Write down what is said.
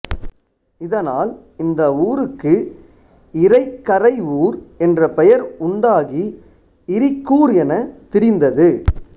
இதனால் இந்த ஊருக்கு இரை கரை ஊர் என்ற பெயர் உண்டாகி இரிக்கூர் எனத் திரிந்தது